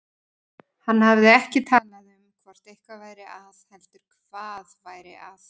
Hann hafði ekki talað um hvort eitthvað væri að heldur hvað væri að.